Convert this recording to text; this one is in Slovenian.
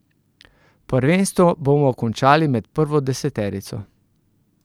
Prvenstvo bomo končali med prvo deseterico.